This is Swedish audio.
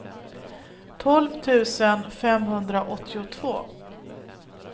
tolv tusen femhundraåttiotvå